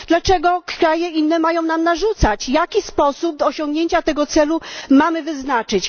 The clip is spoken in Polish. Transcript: Dlaczego inne kraje mają nam narzucać, jaki sposób osiągnięcia tego celu mamy wyznaczyć?